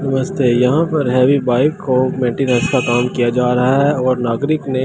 नमस्‍ते यहां पे हैवी बाइक को मटेरियल्‍स का काम किया जा रहा है और नागरिक ने --